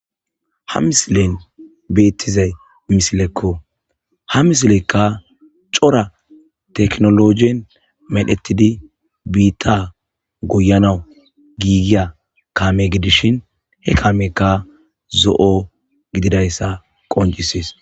ha misilen beettizay misilekko ha misilekka cora teknologen medhetidi biitta goyanawu giigiya kaame gidishin he kaamekka zo'o gididayssa qoncishes